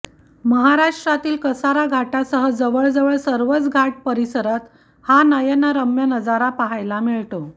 महाराष्टातील कसारा घाटासह जवळजवळ सर्वच घाट परिसरात हा नयनरम्य नजारा पहायला मिळतो